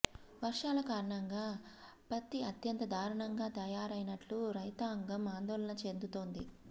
వర్షాల కారణంగా పత్తి అత్యంత దారుణంగా తయారైనట్లు రైతాంగం ఆందోళన చెం దుతోంది